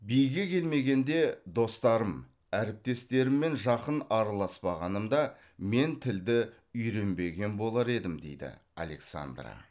биге келмегенде достарым әріптестеріммен жақын араласпағанымда мен тілді үйренбеген болар едім дейді александра